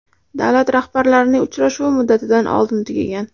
Davlat rahbarlarining uchrashuvi muddatidan oldin tugagan.